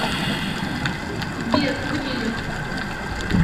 сбер будильник